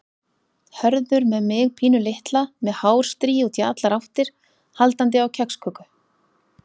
Hörður með mig pínulitla með hárstrý út í allar áttir, haldandi á kexköku.